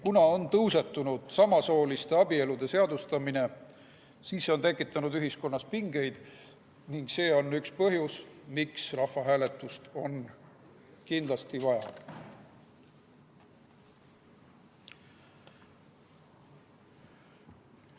Kuna on tõusetunud samasooliste abielude seadustamise teema, siis see on tekitanud ühiskonnas pingeid ning see on üks põhjusi, miks rahvahääletust on kindlasti vaja.